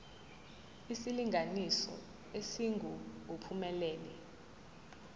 isilinganiso esingu uphumelele